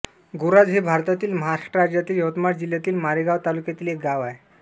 गोराज हे भारतातील महाराष्ट्र राज्यातील यवतमाळ जिल्ह्यातील मारेगांव तालुक्यातील एक गाव आहे